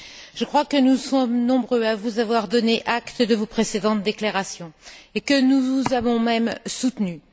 Je crois que nous sommes nombreux à vous avoir donné acte de vos précédentes déclarations et que nous vous avons même soutenue.